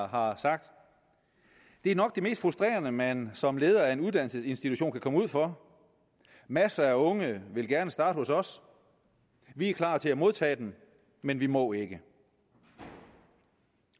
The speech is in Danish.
har sagt det er nok det mest frustrerende man som leder af en uddannelsesinstitution kan komme ud for masser af unge vil gerne starte hos os vi er klar til at modtage dem men vi må ikke